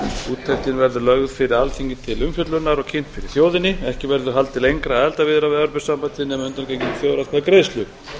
úttektin verður lögð fyrir alþingi til umfjöllunar og kynnt fyrir þjóðinni ekki verður haldið lengra í aðildarviðræðum við evrópusambandið nema að undangenginni þjóðaratkvæðagreiðslu